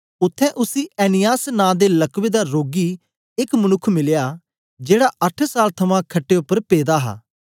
उत्थें उसी ऐनियास नां दे लकवे दा रोगी एक मनुक्ख मिलया जेड़ा अट्ठ साल थमां खट्टे उपर पेदा हा